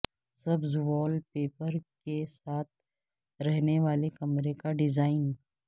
سبز wallpaper کے ساتھ رہنے والے کمرے کا ڈیزائن